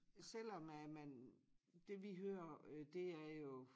Selvom at man det vi hører det er jo